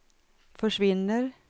försvinner